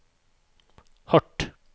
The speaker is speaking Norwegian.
hardt